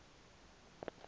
tsalwa zibe zide